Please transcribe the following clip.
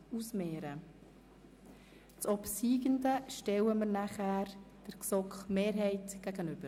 Den obsiegenden Antrag stellen wir dem Antrag der GSoK-Mehrheit gegenüber.